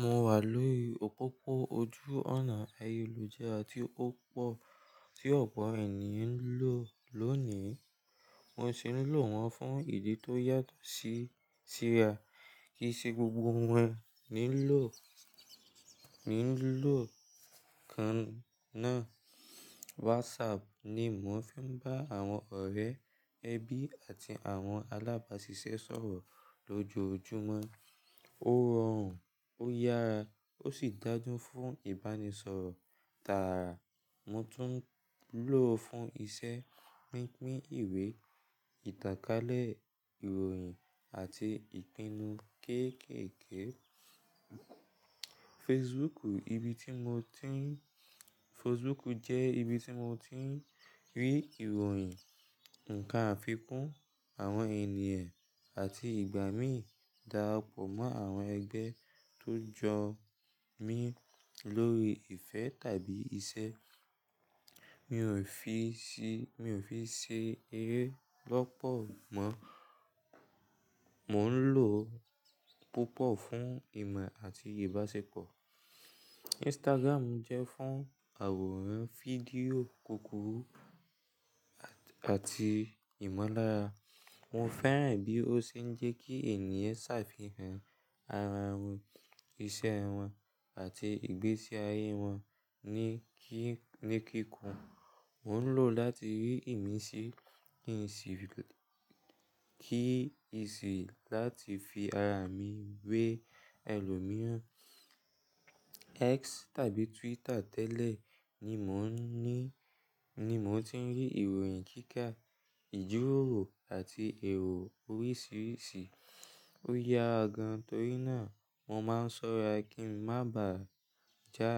Mo wà lórí òpópó ojú ònà ayélujára tí ó pọ̀ tí ọ̀pọ̀ ènìyàn ń lò lónìí. Mo sì ń lò wọ́n fún ìdí tó yàtọ̀ sí, síra. Kì í ṣe gbogbo wọn ni lò, ni lò kan náà. WhatsApp ni mò ń fi ń bá àwọn ọ̀rẹ́, ẹbí àti àwọn alábáṣiṣẹ́ sọ̀rọ̀ lójoojúmọ́. Ó rọrùn, ó yára ó sì dáńdún fún ìbánisọ̀rọ̀ tààrà. Mo tún ń lò ó fún iṣẹ́ pínpín ìwé, ìtàkálẹ̀ ìròyìn àti ìpinnu kéékèèké. Facebook ibi tí mo ti ń, Facebook jẹ́ ibi tí mo ti ń rí ìròyìn, ǹkan àfikún, àwọn ènìyàn àti ìgbà mí dàrá pọ̀ mọ́ àwọn ẹgbẹ́ tó jọ mí lórí ìfẹ́ tàbí iṣẹ́. Mi ò fi ṣe, mi ò fi ṣe eré lọ́pọ̀ mọ́. Mò ń lò ó púpọ̀ fún ìmọ̀ àti ìbáṣepọ̀. Instagram jẹ́ fún àwòrán, fídíò, kòkòrò àti ìmọ̀lára. Mo fẹ́ràn bí ó ṣe ń jẹ́ kí ènìyàn ṣàfihàn ara wọn, iṣẹ́ wọn àti ìgbésí ayé wọn ní kí, ní kíkún. Mo ń lò ó láti rí ìmísí, ìmísí kí ìsì láti fi ara mi wé ẹlòmíràn. X tàbí Twitter tẹ́lẹ̀ ni mò ń ní, ni mò ti ń rí ìròyìn kíkà, ìjíròrò àti èrò oríṣiríṣi. Ó ya gan-an torí náà mo máa ń ṣọ́ra kí ń má bà jà,